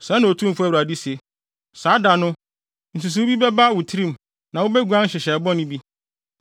“ ‘Sɛɛ na Otumfo Awurade se: Saa da no, nsusuwii bi bɛba wo tirim na wubeguan nhyehyɛe bɔne bi.